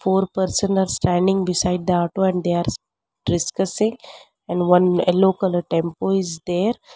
Four person are standing beside the auto and they are discussing and one yellow colour tempo is there.